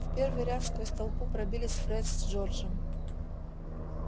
в первый ряд сквозь толпу пробились фред с джорджем